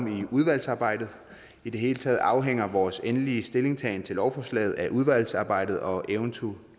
i udvalgsarbejdet i det hele taget afhænger af vores endelige stillingtagen til lovforslaget af udvalgsarbejdet og eventuelle